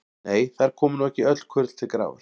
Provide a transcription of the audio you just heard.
Nei, þar koma nú ekki öll kurl til grafar.